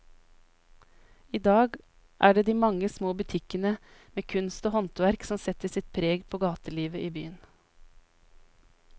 I dag er det de mange små butikkene med kunst og håndverk som setter sitt preg på gatelivet i byen.